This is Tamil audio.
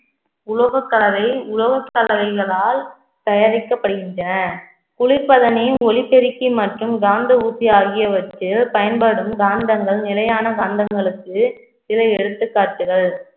உலோக கலவையை உலோக கலவைகளால் தயாரிக்கப்படுகின்றன குளிப்பதனையும் ஒலிபெருக்கி மற்றும் காந்த ஊசி ஆகியவற்றில் பயன்படும் காந்தங்கள் நிலையான காந்தங்களுக்கு சில எடுத்துக்காட்டுகள்